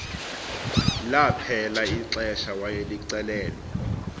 laphela ixesha wayelicelelwe